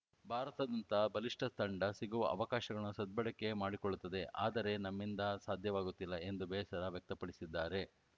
ಭಾರತದಂತಹ ಬಲಿಷ್ಠ ತಂಡ ಸಿಗುವ ಅವಕಾಶಗಳನ್ನು ಸದ್ಬಳಕೆ ಮಾಡಿಕೊಳ್ಳುತ್ತದೆ ಆದರೆ ನಮ್ಮಿಂದ ಸಾಧ್ಯವಾಗುತ್ತಿಲ್ಲ ಎಂದು ಬೇಸರ ವ್ಯಕ್ತಪಡಿಸಿದ್ದಾರೆ